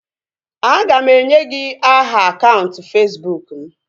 A ga m enye gị aha akaụntụ Fesbụụk m